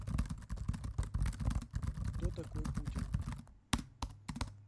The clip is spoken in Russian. кто такой путин